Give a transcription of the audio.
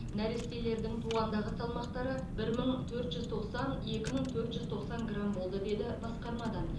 нәрестелердің туғандағы салмақтары бір мың төрт жүз тоқсан екі мың төрт жүз тоқсан грамм болды деді басқармадан